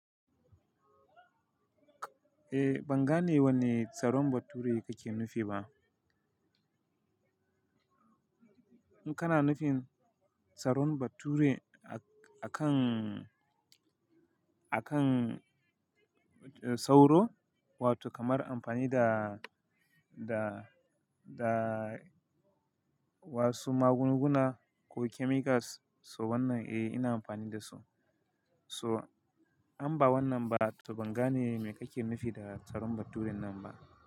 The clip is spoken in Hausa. Eh ban gane wanne tsaron bature kake nufi ba. In kana nufin tsaron bature akan, akan sauro wato kamar amfani da, da, da wasu magunguna ko chemicals, so wannan eh ina amfani da su. So an ba wannan ba to ban gane me kake nufi da tsaron baturen nan ba.